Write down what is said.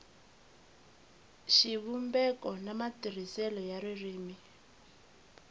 xivumbeko na matirhiselo ya ririmi